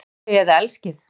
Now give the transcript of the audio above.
Hatið þau eða elskið